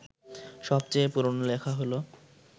সবচেয়ে পুরনো লেখা হল